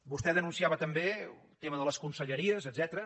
vostè denunciava també el tema de les conselleries etcètera